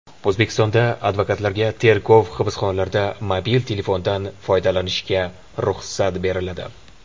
O‘zbekistonda advokatlarga tergov hibsxonalarida mobil telefondan foydalanishga ruxsat beriladi.